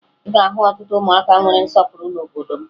Ị ga-ahụ ọtụtụ ụmụaka nwere nsọpụrụ n'obodo m